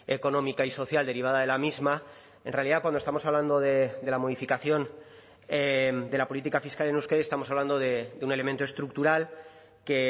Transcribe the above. económica y social derivada de la misma en realidad cuando estamos hablando de la modificación de la política fiscal en euskadi estamos hablando de un elemento estructural que